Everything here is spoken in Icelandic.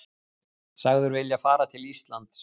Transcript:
Sagður vilja fara til Íslands